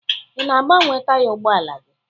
Ị na-agbanwe taya ụgbọala gị?